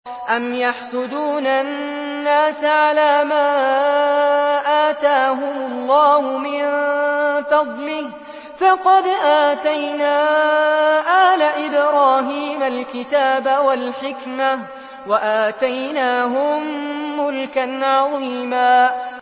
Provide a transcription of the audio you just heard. أَمْ يَحْسُدُونَ النَّاسَ عَلَىٰ مَا آتَاهُمُ اللَّهُ مِن فَضْلِهِ ۖ فَقَدْ آتَيْنَا آلَ إِبْرَاهِيمَ الْكِتَابَ وَالْحِكْمَةَ وَآتَيْنَاهُم مُّلْكًا عَظِيمًا